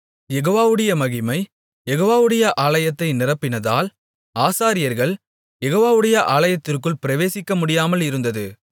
யெகோவாவுடைய மகிமை யெகோவாவுடைய ஆலயத்தை நிரப்பினதால் ஆசாரியர்கள் யெகோவாவுடைய ஆலயத்திற்குள் பிரவேசிக்க முடியாமலிருந்தது